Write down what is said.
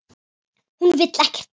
Hún vill ekkert barn.